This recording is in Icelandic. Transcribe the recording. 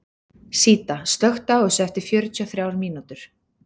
Síta, slökktu á þessu eftir fjörutíu og þrjár mínútur.